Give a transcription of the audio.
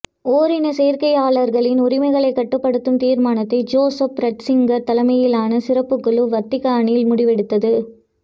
ஓரினச்சேர்க்கையாளர்களின் உரிமைகளைக் கட்டுப்படுத்தும் தீர்மானத்தை ஜோசப் ரட்சிங்கர் தலைமையிலான சிறப்புக் குழு வத்திக்கானில் முடிவெடுத்தது